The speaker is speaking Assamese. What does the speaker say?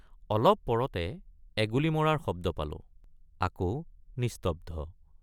অলপ পৰতে এগুলী মৰাৰ শব্দ পালোঁ আকৌ নিস্তব্ধ।